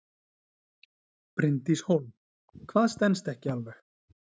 Bryndís Hólm: Hvað stenst ekki alveg?